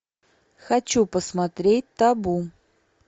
хочу посмотреть табу